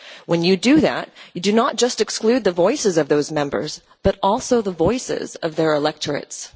When you do that, you do not just exclude the voices of those Members, but also the voices of their electorates.